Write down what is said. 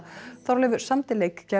Þorleifur samdi